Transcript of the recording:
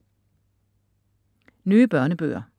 Nye børnebøger